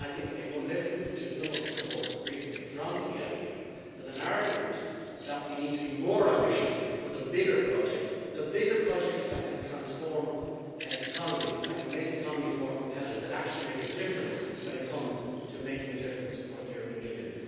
If one listens to some of the reports recently from the EIB there is an argument that we need to be more ambitious for the bigger projects, the bigger projects that can transform economies, that can make economies more competitive, that actually make a difference when it comes to making a difference for the European Union.